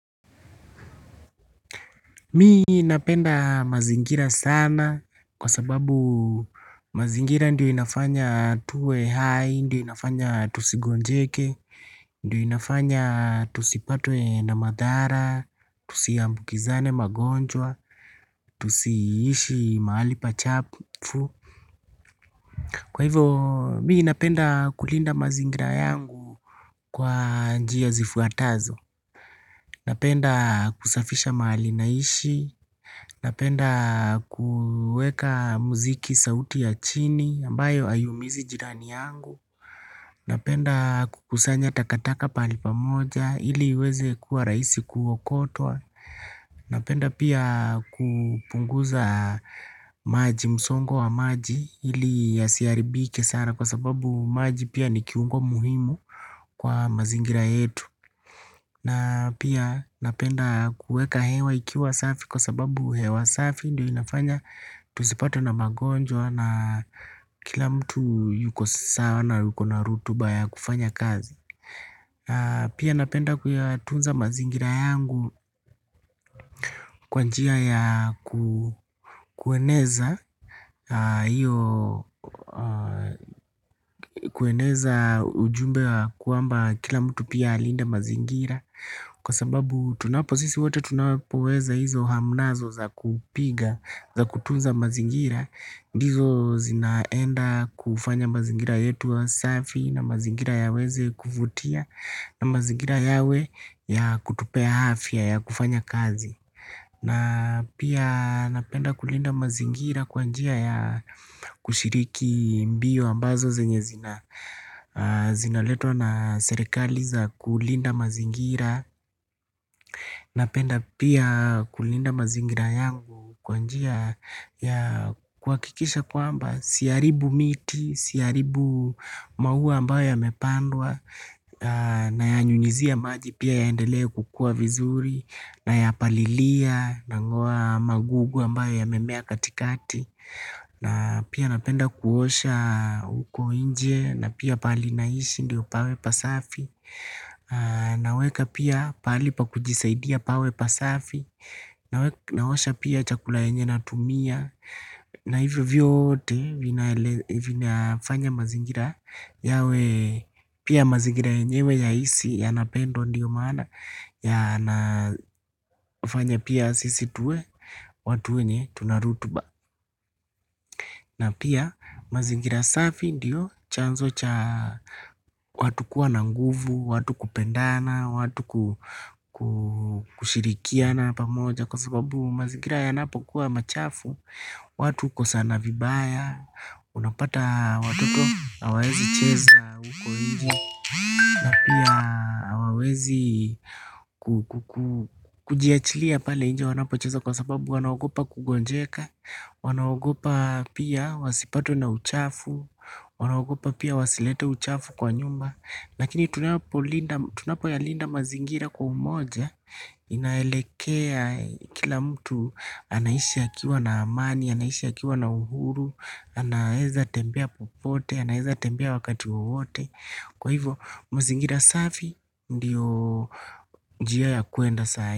Mi napenda mazingira sana kwa sababu mazingira ndio inafanya tuwe hai, ndio inafanya tusigonjeke, ndio inafanya tusipatwe na madhara, tusiambukizane magonjwa, tusiishi mahali pachafu. Kwa hivyo, mii napenda kulinda mazingira yangu kwa njia zifuatazo. Napenda kusafisha mahali naishi. Napenda kueka muziki sauti ya chini ambayo haiumizi jirani yangu. Napenda kukusanya takataka pahali pamoja ili iweze kuwa rahisi kuokotwa. Napenda pia kupunguza maji msongo wa maji ili yasiharibike sana. Kwa sababu maji pia ni kiungo muhimu kwa mazingira yetu. Na pia napenda kueka hewa ikiwa safi. Kwa sababu hewa safi ndio inafanya tusipatwe na magonjwa na kila mtu yuko sawa. Na yuko na rutuba ya kufanya kazi. Pia napenda kuyatunza mazingira yangu. Kwa njia ya kueneza iyo kueneza ujumbe wa kwamba kila mtu pia alinde mazingira. Kwa sababu tunapo sisi wote tunapoweza hizo hamnazo za kupiga za kutunza mazingira. Ndizo zinaenda kufanya mazingira yetu yawe safi na mazingira yaweze kuvutia. Na mazingira yawe ya kutupea afya ya kufanya kazi. Na pia napenda kulinda mazingira kwa njia ya kushiriki mbio ambazo zenye zina zinaletwa na serikali za kulinda mazingira. Napenda pia kulinda mazingira yangu kwa njia ya kuhakikisha kwamba siharibu miti, siharibu maua ambayo yamepandwa. Nayanyunyizia maji pia yaendele kukua vizuri Nayapalilia Nang'oa magugu ambayo yamemea katikati. Na pia napenda kuosha huko nje. Na pia pahali naishi ndio pawe pasafi. Naweka pia pahali pa kujisaidia pawe pasafi. Naosha pia chakula yenye natumia. Na hivyo vyote vinafanya mazingira yawe pia mazingira yenyewe yahisi yanapendwa ndiyo maana. Yanafanya pia sisi tuwe watu wenye tuna rutuba. Na pia mazingira safi ndiyo chanzo cha watu kuwa na nguvu, watu kupendana, watu kushirikiana pamoja. Kwa sababu mazingira yanapokuwa machafu. Watu hukosana vibaya. Unapata watoto na hawaezi cheza huko nje. Na pia hawawezi kujiachilia pale nje wanapocheza kwa sababu wanaogopa kugonjeka. Wanaogopa pia wasipatwe na uchafu. Wanaogopa pia wasilete uchafu kwa nyumba. Lakini tunapoyalinda mazingira kwa umoja. Inaelekea kila mtu anaishi akiwa na amani, anaishi akiwa na uhuru. Anaeza tembea popote, anaeza tembea wakati wowote. Kwa hivyo mazingira safi ndiyo njia ya kuenda sai.